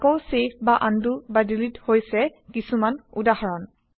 আকৌ ছেভ বা আনডু বা ডিলিট হৈছে কিছুমান উদাহৰণ